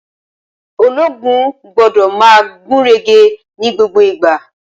Ológun gbódò ma gúnrégé ní gbogbo ìgbà